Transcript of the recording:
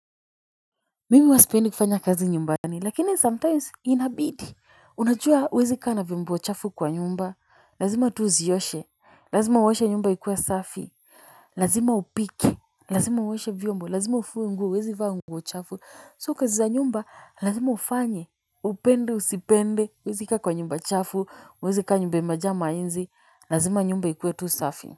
Mimi huwa sipendi kufanya kazi nyumbani lakini sometimes inabidi. Unajua uwezi kaa na vyombo chafu kwa nyumba. Lazima tu uzioshe. Lazima uoshe nyumba ikuwe safi. Lazima upike. Lazima uoshe vyombo. Lazima ufue nguo uwezi vaa nguo chafu So kazi za nyumba lazima ufanye. Upende usipende. Uwezi kaa kwa nyumba chafu. Uwezi kaa nyumba imejaa mainzi. Lazima nyumba ikuwe tu safi.